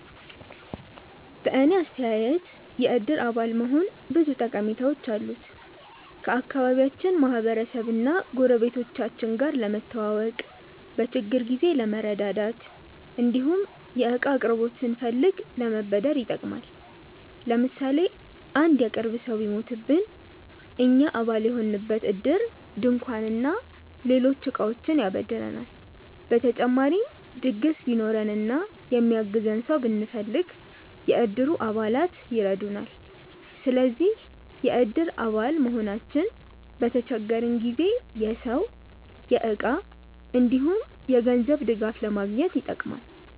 በእኔ አስተያየት የእድር አባል መሆን ብዙ ጠቀሜታዎች አሉት። ከአካባቢያችን ማህበረሰብ እና ጎረቤቶቻችን ጋር ለመተዋወቅ፣ በችግር ጊዜ ለመረዳዳት እንዲሁም የእቃ አቅርቦት ስንፈልግ ለመበደር ይጠቅማል። ለምሳሌ አንድ የቅርብ ሰው ቢሞትብን እኛ አባል የሆንበት እድር ድንኳን እና ሌሎች እቃዎችን ያበድረናል። በተጨማሪም ድግስ ቢኖረን እና የሚያግዘን ሰው ብንፈልግ፣ የእድሩ አባላት ይረዱናል። ስለዚህ የእድር አባል መሆናችን በተቸገረን ጊዜ የሰው፣ የእቃ እንዲሁም የገንዘብ ድጋፍ ለማግኘት ይጠቅማል።